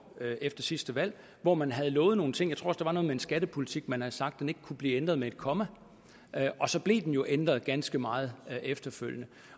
efter sidste valg hvor man havde lovet nogle ting jeg tror der var noget med en skattepolitik man havde sagt ikke kunne blive ændret med et komma og så blev den jo ændret ganske meget efterfølgende